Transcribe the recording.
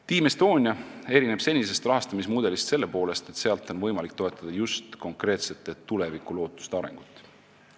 Team Estonia erineb senisest rahastamismudelist selle poolest, et selle abil on võimalik toetada just konkreetsete tulevikulootuste arengut.